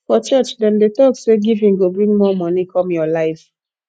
for church dem dey talk say giving go bring more money come your life